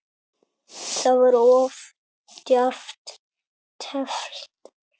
Það var of djarft teflt.